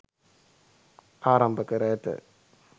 ආරම්භ කර ඇත.